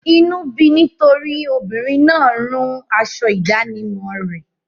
Inú bí i nítorí obìnrin náà rún aṣọ ìdánimọ̀ rẹ.